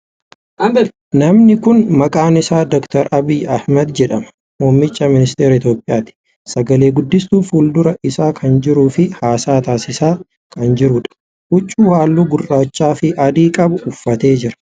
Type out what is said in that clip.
Namni kuni maqaan isaa Dr. Abiy Ahmad jedhama. Muummicha ministeera Itiyoophiyyaati. Sagale guddistuun fuuldura isaa kan jiruu fi haasaa taasisaa kan jiruudha. Huccuu haalluu gurraacha fi adii qabu uffatee jira.